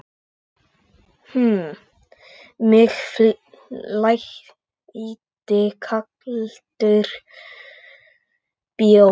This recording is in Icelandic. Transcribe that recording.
Um mig flæddi kaldur bjór.